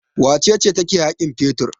Wace ce take haƙin fetur?